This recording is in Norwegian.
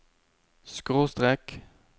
skråstrek